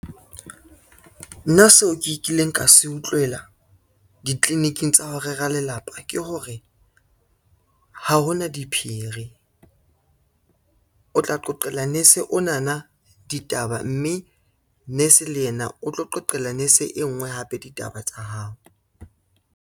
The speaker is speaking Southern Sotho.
Nna seo ke kileng ka se utlwela ditliliniking tsa ho rera lelapa ke hore, ha hona diphiri. O tla qoqela nese onana ditaba, mme nurse le yena o tlo qoqela nese e ngwe hape ditaba tsa hao.